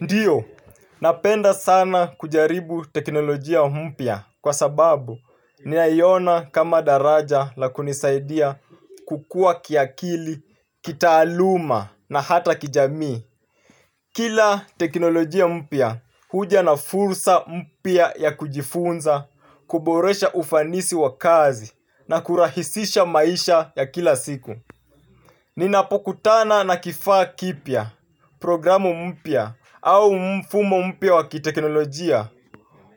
Ndiyo, napenda sana kujaribu teknolojia mpya kwa sababu naiona kama daraja la kunisaidia kukua kiakili, kitaaluma na hata kijamii. Kila teknolojia mpya huja na fursa mpya ya kujifunza, kuboresha ufanisi wa kazi na kurahisisha maisha ya kila siku. Ninapokutana na kifaa kipya, programu mpya au mfumo mpya wa kiteknolojia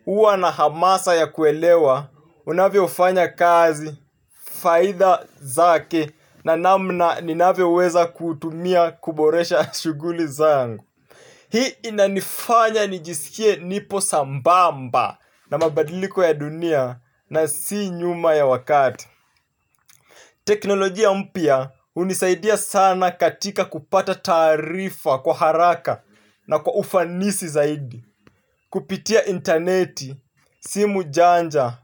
huwa na hamasa ya kuelewa, unavyofanya kazi, faida zake na namna ninavyoweza kuutumia kuboresha shuguli zangu. Hii inanifanya nijisikie nipo sambamba na mabadiliko ya dunia na si nyuma ya wakati. Teknolojia mpya hunisaidia sana katika kupata tarifa kwa haraka na kwa ufanisi zaidi. Kupitia interneti, simu janja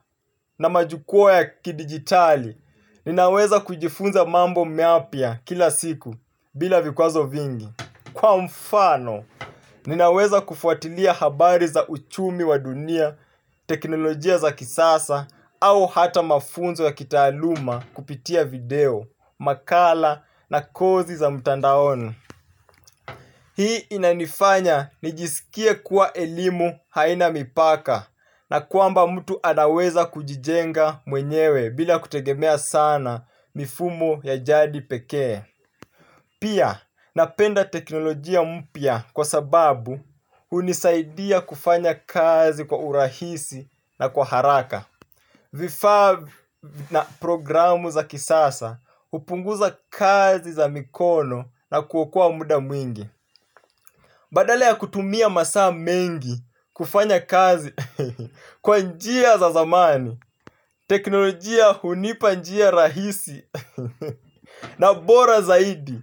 na majukwaa ya kidigitali, ninaweza kujifunza mambo mapya kila siku bila vikwazo vingi. Kwa mfano, ninaweza kufuatilia habari za uchumi wa dunia, teknolojia za kisasa, au hata mafunzo ya kitaaluma kupitia video, makala na kozi za mtandaoni. Hii inanifanya nijisikie kuwa elimu haina mipaka na kwamba mtu anaweza kujijenga mwenyewe bila kutegemea sana mifumo ya jadi pekee. Pia napenda teknolojia mpya kwa sababu hunisaidia kufanya kazi kwa urahisi na kwa haraka. Vifaa na programu za kisasa hupunguza kazi za mikono na kuokoa muda mwingi. Badale ya kutumia masaa mengi kufanya kazi kwa njia za zamani teknolojia hunipa njia rahisi na bora zaidi.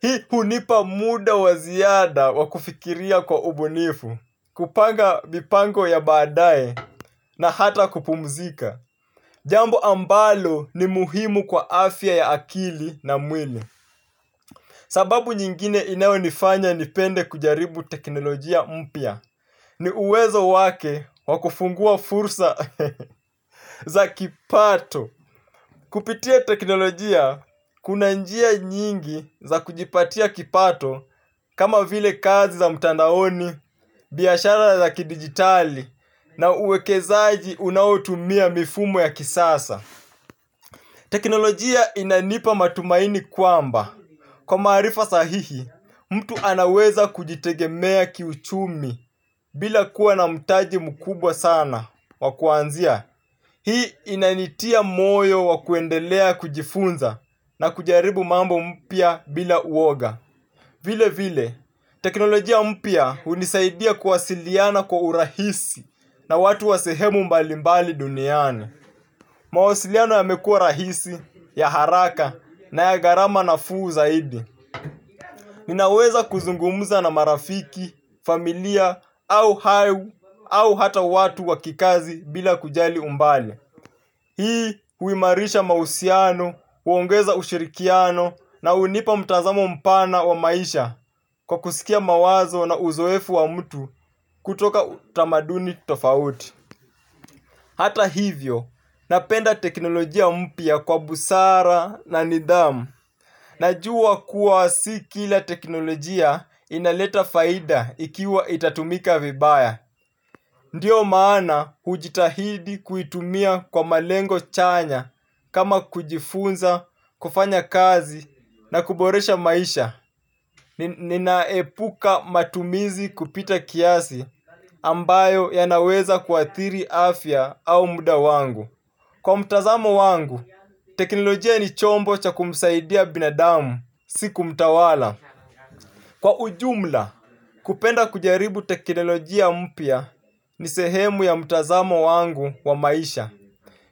Hii hunipa muda wa ziada wa kufikiria kwa ubunifu, kupanga mipango ya baadae na hata kupumzika. Jambo ambalo ni muhimu kwa afya ya akili na mwili. Sababu nyingine inayonifanya nipende kujaribu teknolojia mpya. Ni uwezo wake wakufungua fursa za kipato. Kupitia teknolojia, kuna njia nyingi za kujipatia kipato kama vile kazi za mtandaoni, biashara za kidigitali na uwekezaji unaotumia mifumo ya kisasa. Teknolojia inanipa matumaini kwamba. Kwa maarifa sahihi, mtu anaweza kujitegemea kiuchumi bila kuwa na mtaji mkubwa sana wa kuanzia. Hii inanitia moyo wa kuendelea kujifunza na kujaribu mambo mpya bila uwoga. Vile vile, teknolojia mpya hunisaidia kuwasiliana kwa urahisi na watu wa sehemu mbalimbali duniani. Mawasiliano yamekuwa rahisi, ya haraka na ya gharama nafuu zaidi. Ninaweza kuzungumuza na marafiki, familia, au hayu, au hata watu wa kikazi bila kujali umbali. Hii huimarisha mahusiano, huongeza ushirikiano na hunipa mtazamo mpana wa maisha kwa kusikia mawazo na uzoefu wa mtu kutoka utamaduni tofauti. Hata hivyo, napenda teknolojia mpya kwa busara na nidhamu. Najua kuwa si kila teknolojia inaleta faida ikiwa itatumika vibaya. Ndiyo maana hujitahidi kuitumia kwa malengo chanya kama kujifunza, kufanya kazi na kuboresha maisha. Ninaepuka matumizi kupita kiasi ambayo yanaweza kuathiri afya au muda wangu. Kwa mtazamo wangu, teknolojia ni chombo cha kumsaidia binadamu si kumtawala. Kwa ujumla, kupenda kujaribu teknolojia mpya ni sehemu ya mtazamo wangu wa maisha.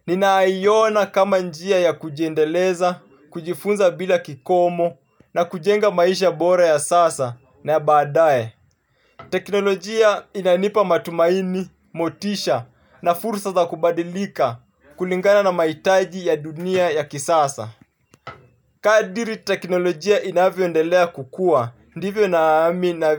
Ninaiona kama njia ya kujiendeleza, kujifunza bila kikomo na kujenga maisha bora ya sasa na ya badae. Teknolojia inanipa matumaini, motisha na fursa za kubadilika kulingana na mahitaji ya dunia ya kisasa. Kadiri teknolojia inavyoendelea kukua, ndivyo nami na.